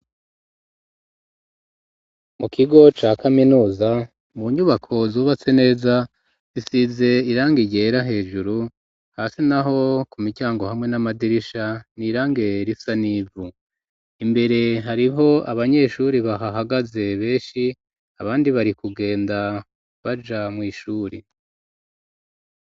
mu kigo ca kaminuza mu nyubako zubatse neza isize irange igera hejuru hasi naho ku micyango hamwe n'amadirisha ni irange risanivu imbere hariho abanyeshuri bahahagaze benshi abandi bari kugenda baja mu ishuri